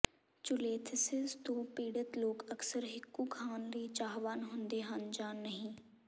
cholelithiasis ਤੋਂ ਪੀੜਤ ਲੋਕ ਅਕਸਰ ਹਿੱਕੂ ਖਾਣ ਲਈ ਚਾਹਵਾਨ ਹੁੰਦੇ ਹਨ ਜਾਂ ਨਹੀਂ